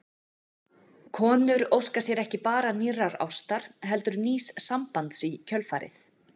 Konur óska sér ekki bara nýrrar ástar heldur nýs sambands í kjölfarið.